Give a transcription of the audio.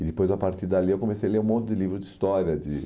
E depois, a partir dali, eu comecei a ler um monte de livros de história, de